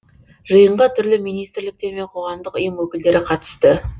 жиынға түрлі министрліктер мен қоғамдық ұйым өкілдері қатысты